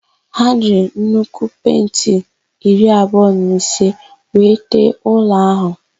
Ha jiri nnukwu penti bọketị iri abụọ na ise wee tee ụlọ áhụ̀.